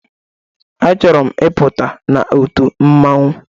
A chọrọ m ị pụta n'otu mmanwu